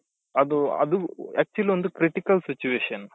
ಅದು ಅದು actual ಒಂದು critical situation